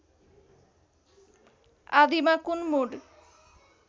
आदिमा कुन मुड